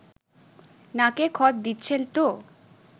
নাকে খত দিচ্ছেন তো